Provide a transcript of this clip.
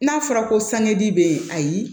N'a fɔra ko sangedi bɛ yen ayi